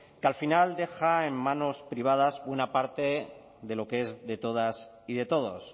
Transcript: que al final deja en manos privadas una parte de lo que es de todas y de todos